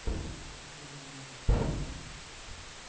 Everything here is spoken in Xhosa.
ophila nesi sifo